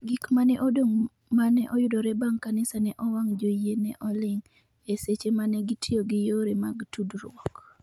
Gik ma ne odong’ ma ne oyudre bang’ kanisa ne owang’ Joyie ne oling’, e seche ma ne gitiyo gi yore mag tudruok.